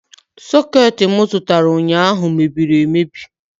Soketi m zụtara ụnyaahụ mebiri emebi